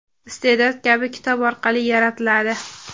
iste’dod kabi kitob orqali yaratiladi.